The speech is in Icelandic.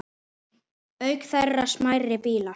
Auk þeirra smærri bílar.